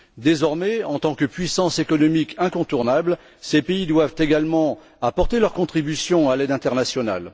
Désormais, en tant que puissances économiques incontournables, ces pays doivent également apporter leurs contributions à l'aide internationale.